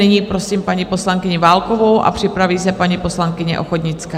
Nyní prosím paní poslankyni Válkovou a připraví se paní poslankyně Ochodnická.